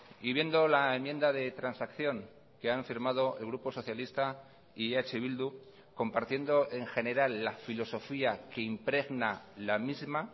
y viendo la enmienda de transacción que han firmado el grupo socialista y eh bildu compartiendo en general la filosofía que impregna la misma